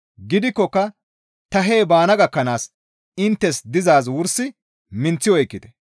Gidikkoka ta hee baana gakkanaas inttes dizaaz wursi minththi oykkite.